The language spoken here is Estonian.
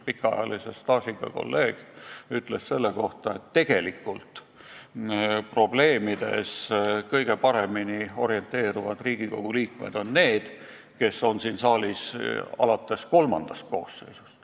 Too staažikas kolleeg ütles selle kohta, et tegelikult orinteeruvad probleemides kõige paremini need Riigikogu liikmed, kes on siin saalis vähemalt kolmandat koosseisu.